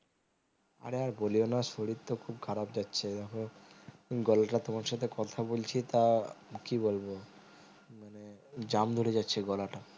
আর আর বলিও না শরীর তো খুব খারাপ যাচ্ছে দেখো গলাটা তোমার সাথে কথা বলছি তা কি বলবো মানে jump ধরে যাচ্ছে গলাটা